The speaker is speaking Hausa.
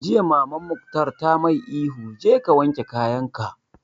Jiya Maman Mukhtar ta mai ihu 'Je ka wanke kayan ka'!